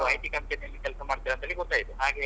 ನೀವ್ IT company ಯಲ್ಲಿ ಕೆಲಸ ಮಾಡ್ತೀರಾ ಅಂತೇಳಿ ಗೊತಾಯ್ತು ಹಾಗೆ.